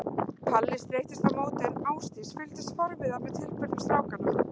Palli streittist á móti en Ásdís fylgdist forviða með tilburðum strákanna.